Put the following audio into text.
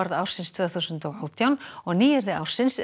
ársins tvö þúsund og átján og nýyrði ársins er